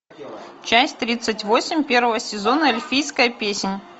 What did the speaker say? часть тридцать восемь первого сезона эльфийская песнь